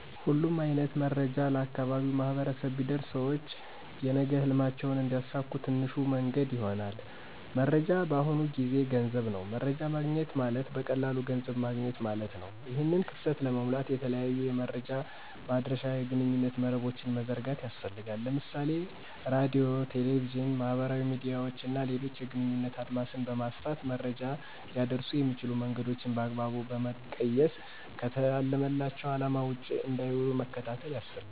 ሁሉም አይነት መረጃዎች ለአካባቢው ማህበረሰብ ቢደርስ ሰውች የነገ ህልማቸውን እንዲያሳኩ ትንሹ መንገድ ይሆናል። መረጃ በአሁኑ ጊዜ ገንዘብ ነው። መረጃ ማግኘት ማለት በቀላሉ ገንዘብ ማገኘት ማለት ነው። ይህን ክፍተት ለመሙላት የተለያዩ የመረጃ ማድረሻ የግንኙነት መረቦችን መዘርጋት ያስፈልጋል። ለምሳሌ ራድዮ፣ ቴሌቪዥን፣ ማህበራዊ ሚድያዎች እና ሌሎችን የግንኙነት አድማስን በማስፋት መረጃ ሊያደርሱ የሚችሉ መንገዶችን በአግባቡ በመቀየስ ከታለመላቸው አለማ ውጭ እንዳይዉሉ መከታተል ያስፈልጋል።